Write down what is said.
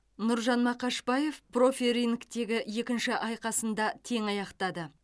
нұржан мақашбаев профи рингтегі екінші айқасын да тең аяқтады